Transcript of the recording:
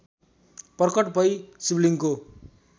प्रकट भइ शिवलिङ्गको